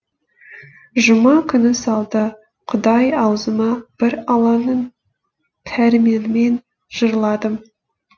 жұма күні салды құдай аузыма бір алланың пәрменімен жырладым